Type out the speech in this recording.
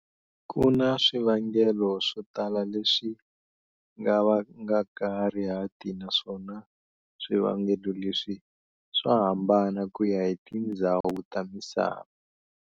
Kuna swivangelo swo tala leswi nga vangaka rihati naswona swi vangelo leswi swa hambana kuya hi tindzhawu ta misava.